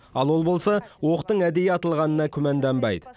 ал ол болса оқтың әдейі атылғанына күмәнданбайды